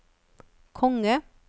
konge